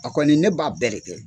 O kɔni ne b'a bɛɛ de kɛ.